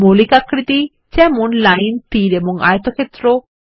মৌলিক আকৃতি যেমন লাইন তীর এবং আয়তক্ষেত্র